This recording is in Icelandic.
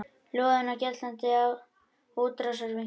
Loðinn og geltandi útrásarvíkingur